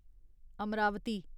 Amravati